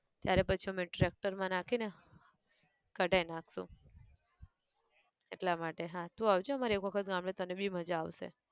ત્યારે પછી અમે tractor માં નાખી ને કઢાઈ નાખશું, એટલા માટે હા તું આવજે અમારે એક વખત ગામડે તને બી મજા આવશે.